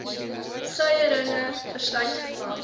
suierringe verslyt vervang